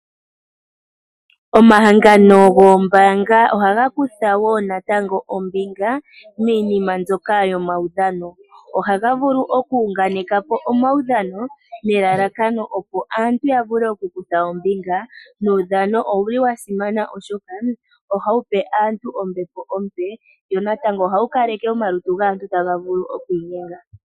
Omahangano goombanga ohaga kutha ombinga miinima mbyoka yomaudhano ohaga vulu okuyunganekapo omaudhano nelalakano opo aantu ya vule okukutha ombinga nuudhano owu li wa simana oshoka oha wu pe aantu ombepo ompe wonatango oha wu kaleke omalutu gaantu taga vulu okwiinyenga.